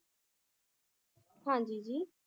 ਹਾਂਜੀ ਜੀ।